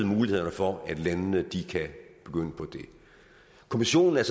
mulighederne for at landene kan begynde på det kommissionen er